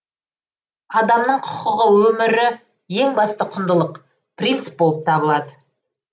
адамның құқығы өмірі ең басты құндылық принцип болып табылады